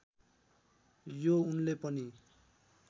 यो उनले पनि